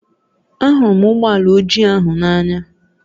Ahụrụ m ụgbọ ala ojii ahụ n'anya